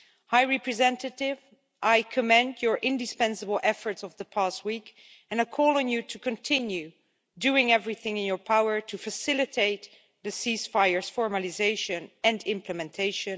High Representative, I commend your indispensable efforts of the past week and call on you to continue doing everything in your power to facilitate the ceasefire's formalisation and implementation.